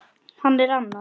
Hann er annað